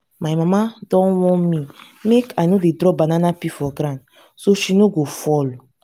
my mama don warn me make i no dey drop banana peel for ground so she no go fall